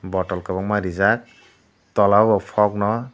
bottle kwbangma rijak tola o bo fogg no.